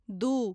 दू